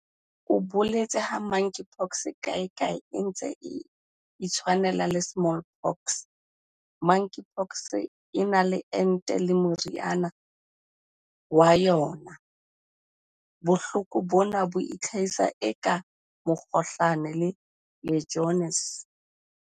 O boletse ha Monkeypox kae kae e ntse e itshwanela le Smallpox."Monkeypox e na le ente le meriana ya yona. Bohloko bona bo itlhahisa eka mokgohlane le Legionnaires."